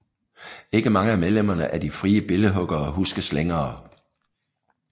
Ikke mange af medlemmerne af De frie Billedhuggere huskes længere